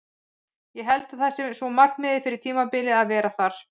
Ég held að það sé svona markmiðið fyrir tímabilið að vera þar.